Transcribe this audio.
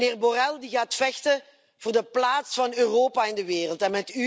Met meneer Borrell, die gaat vechten voor de plaats van Europa in de wereld.